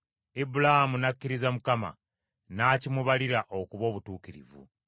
Ibulaamu n’akkiriza Mukama , n’akimubalira okuba obutuukirivu.